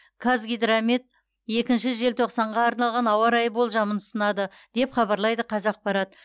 қазгидромет екінші желтоқсанға арналған ауа райы болжамын ұсынады деп хабарлайды қазақпарат